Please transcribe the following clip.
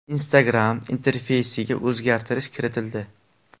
Instagram interfeysiga o‘zgartirish kiritildi.